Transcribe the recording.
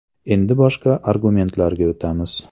Endi boshqa argumentlarga o‘tamiz.